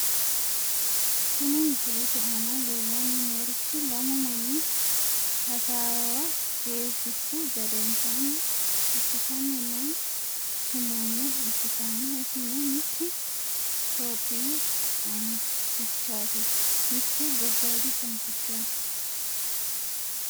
Kuni misilete aana leellanni noorichi lamu manni hasaawa jeefissu gedensaanni assitanni noo sumiimme ikkitanna, isino mittu topiyu qansichaati mittu gobayiidi qansichaati.